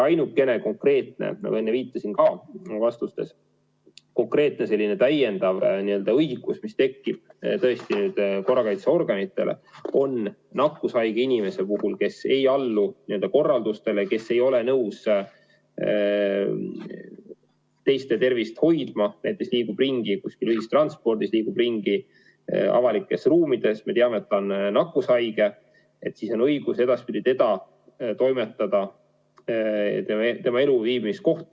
Ainukene konkreetne – ma juba enne viitasin sellele vastustes – täiendav õigus, mis tekib korrakaitseorganitel, on see, et kui tegu on nakkushaige inimesega, kes ei allu korraldustele, kes ei ole nõus teiste tervist hoidma, näiteks liigub ringi ühistranspordis, liigub ringi avalikes ruumides, kuigi me teame, et ta on nakkushaige, siis on õigus ta toimetada tema elu- või viibimiskohta.